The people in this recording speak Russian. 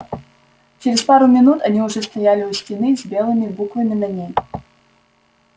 через пару минут они уже стояли у стены с белыми буквами на ней